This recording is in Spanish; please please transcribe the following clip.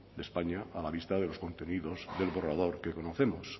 de españa a la vista de los contenidos del borrador que conocemos